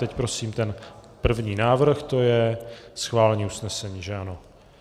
Teď prosím ten první návrh, to je schválení usnesení, že ano?